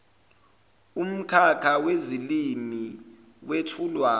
umkhakha wezilimi wethulwa